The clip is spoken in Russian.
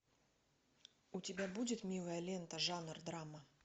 у тебя будет милая лента жанр драма